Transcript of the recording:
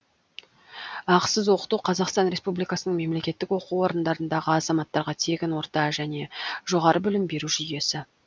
ақысыз оқыту қазақстан республикасының мемлекеттік оқу орындарындағы азаматтарға тегін орта және жоғары білім беру жүйесі